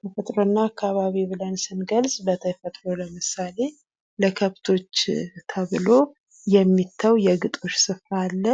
ተፈጥሮ እና አካባቢ ብለን ስንገልፅ በተፈጥሮ ለምሳሌ ለከብቶች ተብሎ የሚተው የግጦሽ ስፍራ አለ።